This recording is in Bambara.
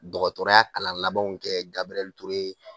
Dɔgɔtɔrɔya kalan labanw kɛ Gabriel Toure